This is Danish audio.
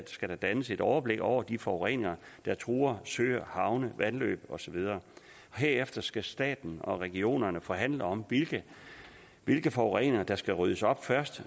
skal dannes et overblik over den forurening der truer søer havne vandløb og så videre herefter skal staten og regionerne forhandle om hvilken forurening der skal ryddes op først